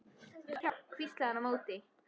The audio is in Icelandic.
Vantar þig hjálp? hvíslaði hann á móti.